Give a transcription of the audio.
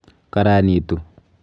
Karanitu.